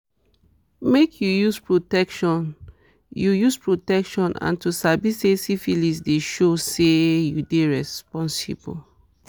make you use protection you use protection and to sabi say syphilis dey show say you dey responsible